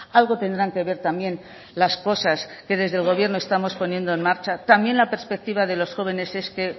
algo tendrán que ver también las cosas que desde el gobierno estamos poniendo en marcha también la perspectiva de los jóvenes es que